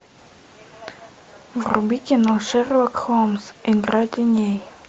вруби кино шерлок холмс игра теней